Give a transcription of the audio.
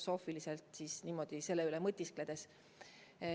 Filosoofiliselt võib selle üle mõtiskleda küll.